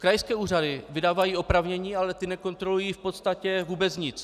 Krajské úřady vydávají oprávnění, ale ty nekontrolují v podstatě vůbec nic.